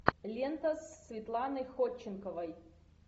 лента с светланой ходченковой